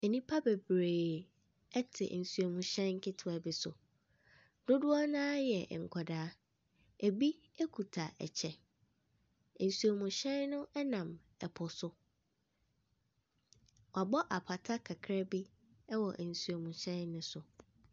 Nnipa bebree ɛte nsuo mu hyɛn ketewa bi so. Dodoɔ naa yɛ nkɔdaa. Ebi ekuta ɛkyɛ. Nsuo mu hyɛn no ɛnam ɛpo so. Wabɔ apata kakraa bi ɛwɔ nsuo mu hyɛn no so.